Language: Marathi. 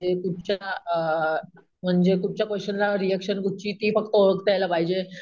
ते कुठच्या अम म्हणजे कुठच्या क्वेश्चन ला रिएक्शन कुठची ते ओळखता यायला पाहिजे.